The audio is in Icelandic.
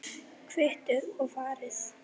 Kvittið og farið.